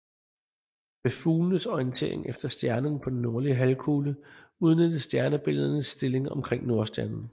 Ved fuglenes orientering efter stjernerne på den nordlige halvkugle udnyttes stjernebilledernes stilling omkring Nordstjernen